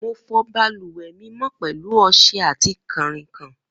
Mo fọ balùwẹ mi mọ pẹlu ọṣẹ ati kanrinkan.